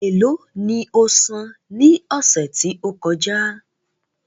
É lo ni osan ní ọ̀sẹ̀ tí ó kọjá?